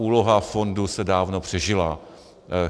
Úloha fondu se dávno přežila.